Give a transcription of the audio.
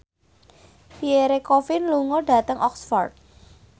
Pierre Coffin lunga dhateng Oxford